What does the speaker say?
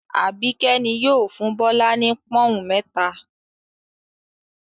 Àbíkẹ́ ni yóò fún Bọ́lá ní pọ́ń-ọ̀n mẹ́ta.